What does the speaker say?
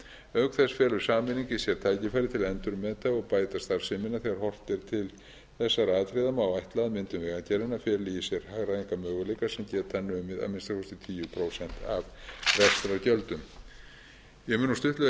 auk þess felur sameining í sér tækifæri til að endurmeta og bæta starfsemina þegar horft er til þessara atriða má áætla að myndun framkvæmdastofnunar feli í sér hagræðingarmöguleika sem geta numið að minnsta kosti tíu prósent af rekstrargjöldum ég mun nú stuttlega